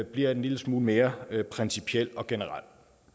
bliver en lille smule mere principiel og generel